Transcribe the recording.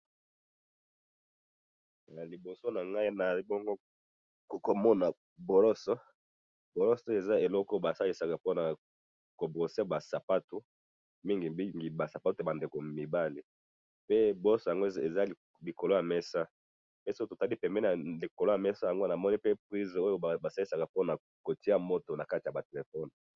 Na liboso na ngai nazali bongo komona boloso, boloso oyo za eloko oyo basalisaka pona ko brosser ba sapato mingi mingi ba sapato ya ba ndeko mibali, pe brosse yango eza likolo ya mesa ,pe soki totali likolo ya mesa namoni pe prise oyo basalisaka po na kotia moto na kati ya ba telephones